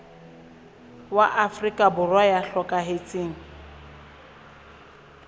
wa afrika borwa ya hlokahetseng